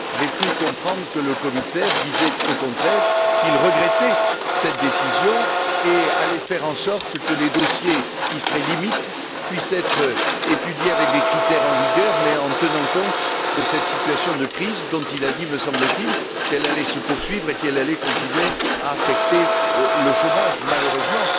J'ai cru comprendre que le commissaire disait, au contraire, qu'il regrettait cette décision et allait faire en sorte que les dossiers qui seraient limites puissent être étudiés avec les critères en vigueur, mais en tenant compte de cette situation de crise dont il a dit me semble t il qu'elle allait se poursuivre et qu'elle allait continuer à affecter le chômage malheureusement.